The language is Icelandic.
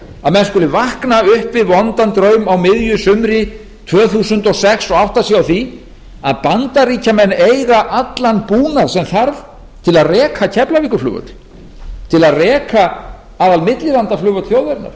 að menn skuli vakna upp við vondan draum á miðju sumri tvö þúsund og sex og átta sig á því að bandaríkjamenn eiga allan búnað sem þarf til að reka keflavíkurflugvöll til að reka aðalmillilandaflugvöll þjóðarinnar